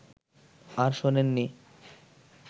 আর শোনেননি